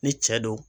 Ni cɛ don